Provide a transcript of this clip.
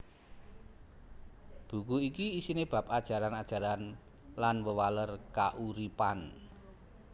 Buku iki isiné bab ajaran ajaran lan wewaler kauripan